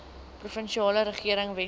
provinsiale regering weskaap